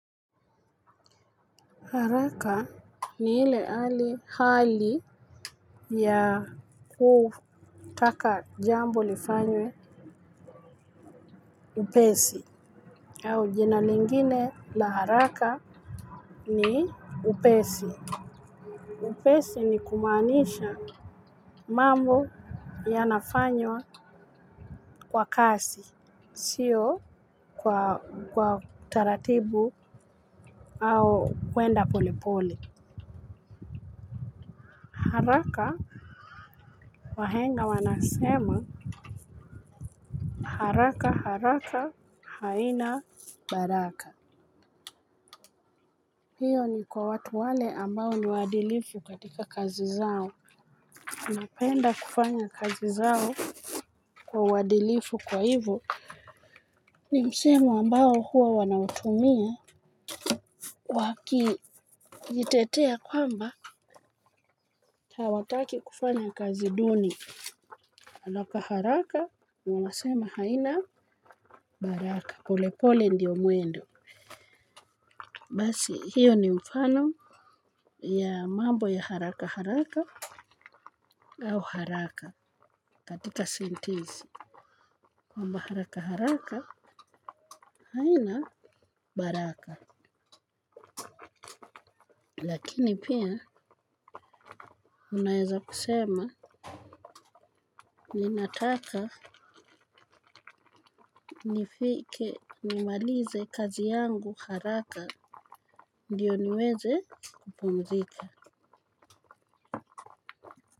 Haraka ni ile hali ya kutaka jambo lifanywe upesi. Au jina lingine la haraka ni upesi. Upesi ni kumaanisha mambo yanafanywa kwa kasi, si kwa taratibu au kwenda polepole. Haraka. Wahenga wanasema: "Haraka haraka haina baraka." Hiyo ni kwa watu wale ambao ni waadilifu katika kazi zao. Napenda kufanya kazi zangu kwa uadilifu. Kwa hivyo, ni msemo ambao huwa wanautumia wakijitetea kwamba hawataki kufanya kazi duni. Haraka haraka ni wanasema haina, baraka. Polepole ndiyo mwendo. Basi, hiyo ni mfano ya mambo ya haraka haraka au haraka katika sentensi. Kwamba haraka haraka, haina baraka. Lakini pia, unaweza kusema, ninataka nifike nimalize kazi yangu haraka, ndiyo niweze kupumzika.